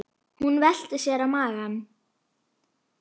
Hún velti sér á magann.